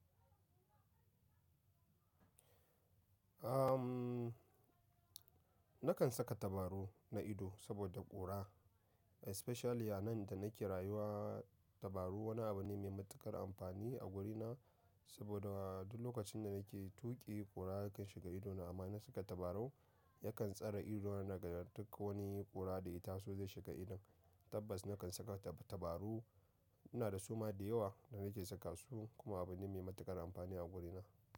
Am, nakan saka tabaru na ido saboda ƙura especially a nan da nake rayuwa. Tabaru wani abu ne mai matuƙar amfani a wurina saboda duk lokacin da nake tuƙi ƙura yakan shiga idona amma in saka tabarau yakan tsare idona daga duk wani ƙura da ya ta so zai shiga idon tabbas nakan saka tabaru. Ina da suma da yawa da nake saka su kuma abu ne mai matuƙar amfani a gurina.